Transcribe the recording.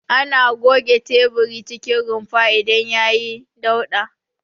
Ana goge teburin cikin rumfar idan yayi dauɗa.